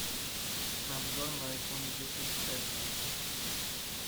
обзор на айфон десять эс